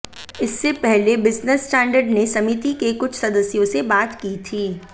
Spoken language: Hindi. इससे पहले बिजनेस स्टैंडर्ड ने समिति के कुछ सदस्यों से बात की थी